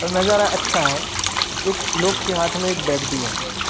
और नजारा अच्छा है एक लोग के हाथ में एक बैग भी है।